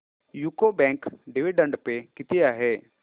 UCO bank dividend pay किती आहे